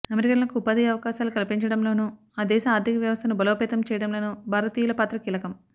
అమెరికన్లకు ఉపాధి అవకాశాలు కల్పించడంలోనూ ఆ దేశ ఆర్థిక వ్యవస్థను బలోపేతం చేయడంలోనూ భారతీయుల పాత్ర కీలకం